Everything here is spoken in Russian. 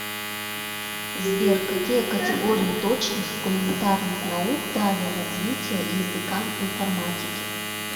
сбер какие категории точных и гуманитарных наук дали развитие языкам информатики